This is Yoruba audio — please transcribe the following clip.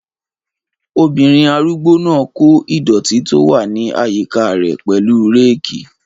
Obìnrin arúgbó náà n kó ìdọ̀ọ̀tí tó wà ní àyíká rẹ̀ pẹ̀lú réèkì